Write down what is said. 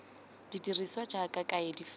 di dirisiwa jaaka kaedi fela